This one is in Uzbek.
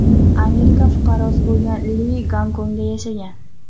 Amerika fuqarosi bo‘lgan Li Gonkongda yashagan.